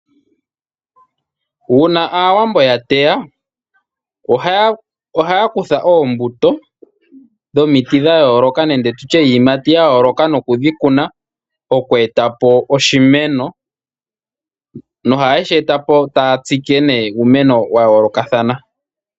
Uuna aawambo yateya ohaya kutha oombuto dhomiti nenge dhiiyimati yayooloka nokudhikuna oku etapo oshimeno. No hayeshi etapo taya tsike uumeno wa yoolokothana.